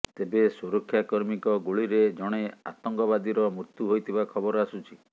ତେବେ ସୁରକ୍ଷାକର୍ମୀଙ୍କ ଗୁଳିରେ ଜଣେ ଆତଙ୍କବାଦୀର ମୃତ୍ୟୁ ହୋଇଥିବା ଖବର ଆସୁଛି